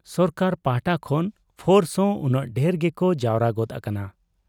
ᱥᱚᱨᱠᱟᱨ ᱯᱟᱦᱴᱟ ᱠᱷᱚᱱ ᱯᱷᱳᱨᱥᱦᱚᱸ ᱩᱱᱟᱹᱝ ᱰᱷᱮᱨ ᱜᱮᱠᱚ ᱡᱟᱣᱨᱟ ᱜᱚᱫ ᱟᱠᱟᱱᱟ ᱾